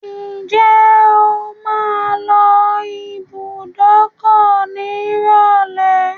Ǹjẹ́ o máa lọ ibùdókọ̀ nírọ̀lẹ́?